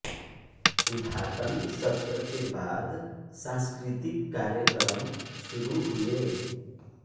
उद्घाटन सत्र के बाद सांस्कृतिक कार्यक्रम शुरू हुए